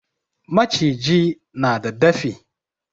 Maciji na da dafi.